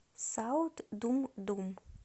саут думдум